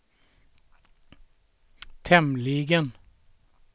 tämligen